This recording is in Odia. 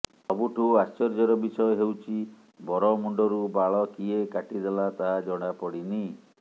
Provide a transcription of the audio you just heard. ସବୁଠୁ ଆଶ୍ଚର୍ଯ୍ୟର ବିଷୟ ହେଉଛି ବର ମୁଣ୍ଡରୁ ବାଳ କିଏ କାଟିଦେଲା ତାହା ଜଣାପଡ଼ିନି